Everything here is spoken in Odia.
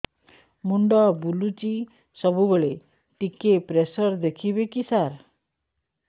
ମୁଣ୍ଡ ବୁଲୁଚି ସବୁବେଳେ ଟିକେ ପ୍ରେସର ଦେଖିବେ କି ସାର